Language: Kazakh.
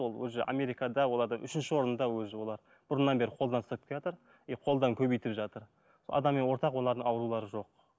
ол уже америкада оларда үшінші орында уже олар бұрыннан бері қолдан ұстап келатыр и қолдан көбейтіп жатыр сол адами ортақ олардың аурулары жоқ